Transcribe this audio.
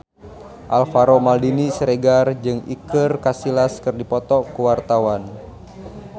Alvaro Maldini Siregar jeung Iker Casillas keur dipoto ku wartawan